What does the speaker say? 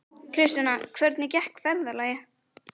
Kristjana, hvernig gekk ferðalagið?